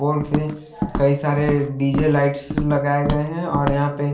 golf पे कई सारे डीजे लाइट्स लगाए गए हैं और यहाँ पे--